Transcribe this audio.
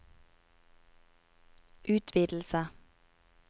utvidelse